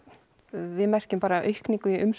við merkjum bara aukningu í